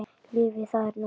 Lífið, það er núna.